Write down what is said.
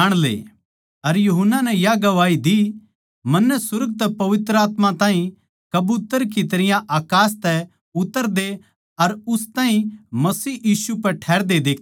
अर यूहन्ना नै या गवाही दीः मन्नै सुर्ग तै पवित्र आत्मा ताहीं कबूतर की तरियां अकास तै उतरदे अर उस ताहीं मसीह यीशु पै ठहरते देख्या सै